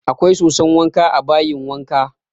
Akwai soson wanka a bayin wankan